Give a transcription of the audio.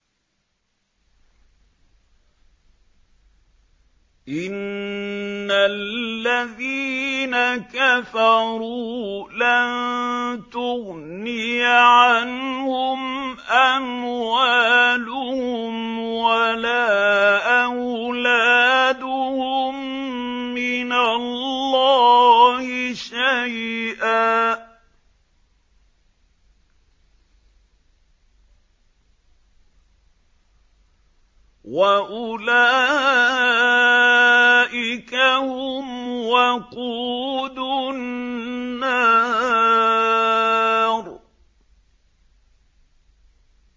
إِنَّ الَّذِينَ كَفَرُوا لَن تُغْنِيَ عَنْهُمْ أَمْوَالُهُمْ وَلَا أَوْلَادُهُم مِّنَ اللَّهِ شَيْئًا ۖ وَأُولَٰئِكَ هُمْ وَقُودُ النَّارِ